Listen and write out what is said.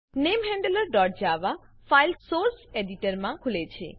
namehandlerજાવા file source એડીટરમાં ખુલે છે